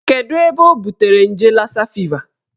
Kedụ ebe o butere nje lassa fever